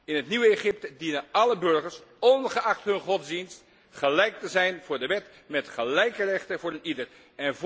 In het nieuwe Egypte dienen alle burgers, ongeacht hun godsdienst, gelijk te zijn voor de wet, met gelijke rechten voor iedereen.